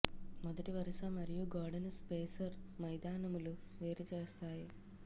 మొదటి వరుస మరియు గోడను స్పేసర్ మైదానములు వేరు చేస్తాయి